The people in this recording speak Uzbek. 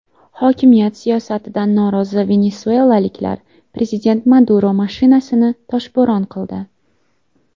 Hokimiyat siyosatidan norozi venesuelaliklar prezident Maduro mashinasini toshbo‘ron qildi.